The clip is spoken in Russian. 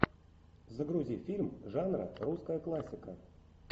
загрузи фильм жанра русская классика